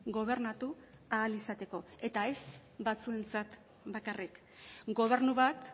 gobernatu ahal izateko eta ez batzuentzat bakarrik gobernu bat